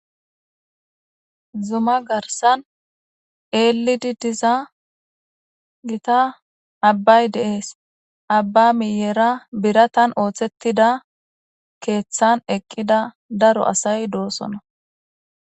zuma garsan eelidi diza gita abbay deees abba miyera biratan ooththettida keeththan eqqida daro asay doosona